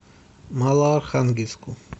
малоархангельску